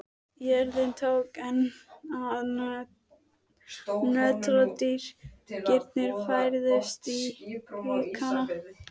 Jörðin tók enn að nötra og dynkirnir færðust í aukana.